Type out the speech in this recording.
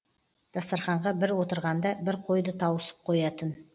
дастарханға бір отырғанда бір қойды тауысып қоятын